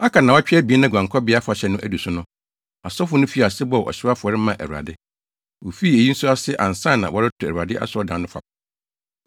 Aka nnaawɔtwe abien na Guankɔbea Afahyɛ no adu so no, asɔfo no fii ase bɔɔ ɔhyew afɔre maa Awurade. Wofii eyi nso ase ansa na wɔreto Awurade asɔredan no fapem.